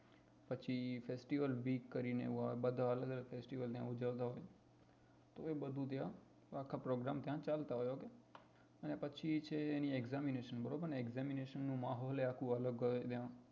પછી festival week કરી ને હોવ બધા અલગ અલગ fastive ને ઉજવતા હોય તો એ બધું ત્યાં આખા program ત્યાં ચાલતા હોય ok ને પછી છે એની examination બરોબર ને examination નું માહોલ એ આખું અલગ હોય ત્યાં